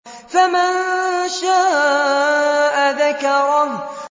فَمَن شَاءَ ذَكَرَهُ